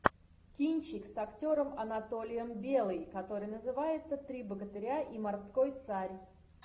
кинчик с актером анатолием белый который называется три богатыря и морской царь